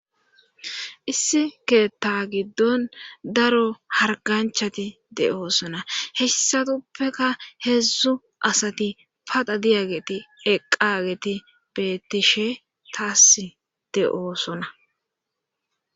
issi keeta giddon daro harganchati de'oosona hessatuppeka heedzdzu asati paxa diyageti eqqidageti beettishe taas de'oosona